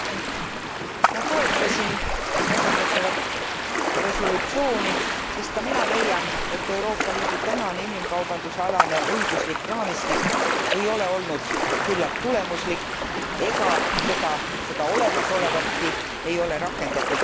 Ma toetasin käsitletavat resolutsiooni, sest ka mina leian, et Euroopa Liidu tänane inimkaubandusealane õiguslik raamistik ei ole olnud küllalt tulemuslik ja seda olemasolevatki ei ole rakendatud piisavalt.